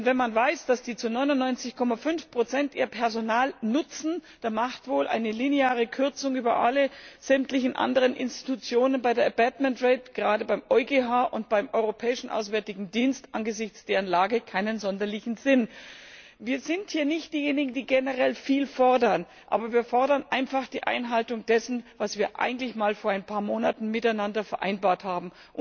Denn wenn man weiß, dass der Gerichtshof sein Personal zu 99,5 nutzt, dann hat wohl eine lineare Kürzung über alle sämtlichen anderen Institutionen bei der abatement rate gerade beim EuGH und beim Europäischen Auswärtigen Dienst, angesichts deren Lage keinen sonderlichen Sinn. Wir sind hier nicht diejenigen, die generell viel fordern, aber wir fordern einfach die Einhaltung dessen, was wir eigentlich einmal vor ein paar Monaten miteinander vereinbart haben.